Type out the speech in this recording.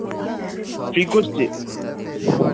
কে করছে